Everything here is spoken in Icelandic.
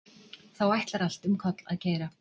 Þá ætlar allt um koll að keyra.